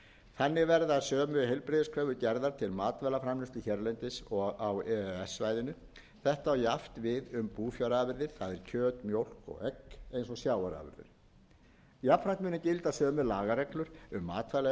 þannig verða sömu heilbrigðiskröfur gerðar til matvælaframleiðslu hérlendis og á e e s svæðinu þetta á jafnt við um búfjárafurðir það er kjöt mjólk og egg eins og sjávarafurðir jafnframt munu gilda sömu lagareglur um matvælaeftirlit með þessum